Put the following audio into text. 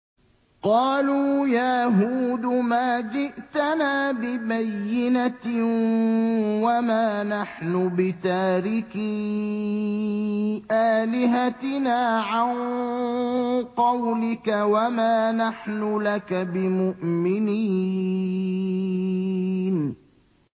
قَالُوا يَا هُودُ مَا جِئْتَنَا بِبَيِّنَةٍ وَمَا نَحْنُ بِتَارِكِي آلِهَتِنَا عَن قَوْلِكَ وَمَا نَحْنُ لَكَ بِمُؤْمِنِينَ